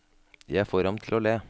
Jeg får ham til å le.